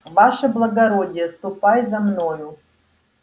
ваше благородие ступай за мною